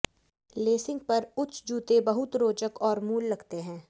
lensing पर उच्च जूते बहुत रोचक और मूल लगते हैं